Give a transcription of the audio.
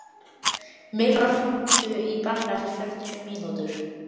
Milla, hringdu í Benna eftir fjörutíu mínútur.